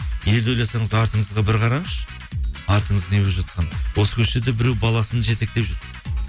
елді ойласаңыз артыңызға бір қараңызшы артыңыз не болып жатқанын осы көшеде біреу баласын жетектеп жүр